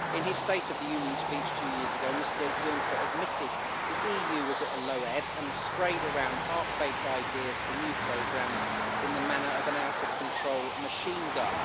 In his State of the Union speech two years ago, Mr Juncker admitted the EU was at a low ebb and sprayed around half baked ideas for new programmes in the manner of an out of control machine gun.